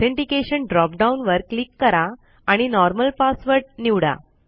authentication drop down वर click करा आणि नॉर्मल पासवर्ड निवडा